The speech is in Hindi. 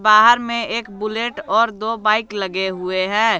बाहर में एक बुलेट और दो बाइक लगे हुए हैं।